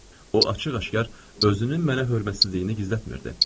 O açıq-aşkar özünün mənə hörmətsizliyini gizlətmirdi.